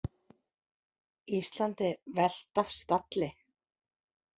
Íslandi velt af stalli